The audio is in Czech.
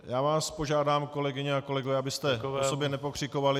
Já vás požádám, kolegyně a kolegové, abyste po sobě nepokřikovali.